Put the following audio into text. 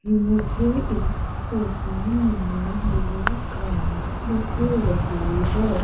मुझे इस फोटो में दो कार दिख रही है।